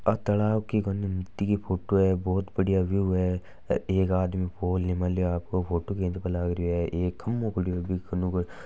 तालाब की कोनी नदी की फोटो है बहुत बढ़िया व्यू है आदमी फ़ोन ले फोटो खींच रहो है खम्बो खड़ो है बीके कन --